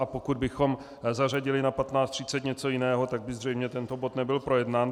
A pokud bychom zařadili na 15.30 něco jiného, tak by zřejmě tento bod nebyl projednán.